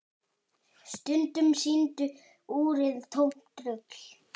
Stundum sýndi úrið tómt rugl.